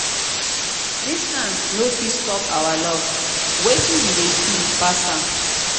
distance no fit stop our love wetin we dey feel pass am